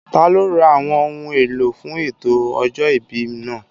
Taló ra àwọn ohun èlò fún ètò ọjọ́ ìbí náà?